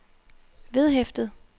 vedhæftet